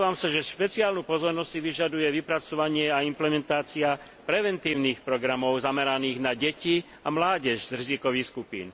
Domnievam sa, že špeciálnu pozornosť si vyžaduje vypracovanie a implementácia preventívnych programov zameraných na deti a mládež z rizikových skupín.